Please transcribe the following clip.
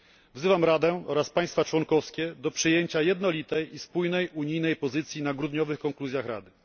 Wzywam Radę oraz państwa członkowskie do przyjęcia jednolitego i spójnego unijnego stanowiska w grudniowych konkluzjach Rady.